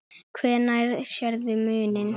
Hvenær sérðu muninn?